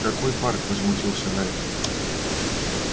какой парк возмутился найд